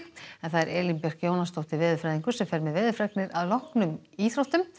Elín Björk Jónasdóttir veðurfræðingur fer með veðurfregnir að loknum íþróttum